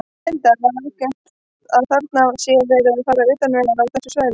Linda: Er algengt að þarna sé verið að fara utan vegar á þessu svæði?